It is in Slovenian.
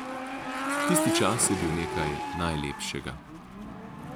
Tisti čas je bil nekaj najlepšega.